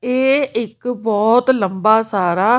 ਇਹ ਇੱਕ ਬਹੁਤ ਲੰਬਾ ਸਾਰਾ--